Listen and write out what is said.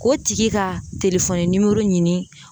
K'o tigi ka ɲini.